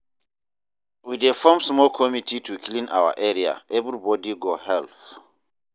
We dey form small committee to clean our area, everybody go help.